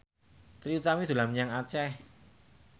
Trie Utami dolan menyang Aceh